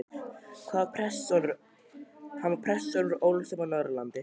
Hann var prestssonur og ólst upp á Norðurlandi.